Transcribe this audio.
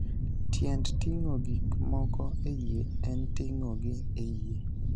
Tiend ting'o gik moko e yie en ting'ogi e yie.